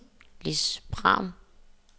Lis Pham